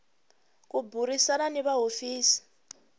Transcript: ku burisana ni va hofisi